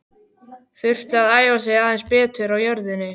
Þurfti að æfa sig aðeins betur á jörðinni.